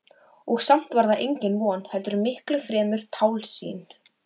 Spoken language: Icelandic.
Og samt var það engin von heldur miklu fremur tálsýn.